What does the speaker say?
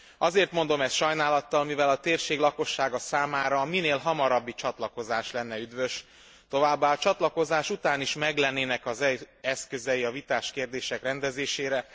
Azért mondom ezt sajnálattal, mivel a térség lakossága számára a minél hamarabbi csatlakozás lenne üdvös, továbbá a csatlakozás után is meglennének az eszközei a vitás kérdések rendezésére.